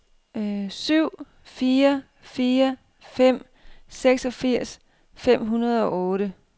syv fire fire fem seksogfirs fem hundrede og otte